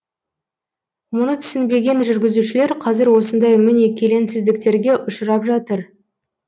мұны түсінбеген жүргізушілер қазір осындай міне келеңсіздіктерге ұшырап жатыр